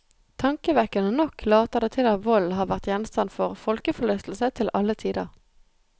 Tankevekkende nok later det til at vold har vært gjenstand for folkeforlystelse til alle tider.